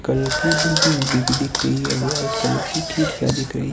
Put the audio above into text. कल की बिल्डिंग दिख दिख रही है वाइट कलर की खिड़कियां दिख रही--